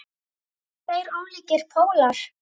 Þetta eru tveir ólíkir pólar.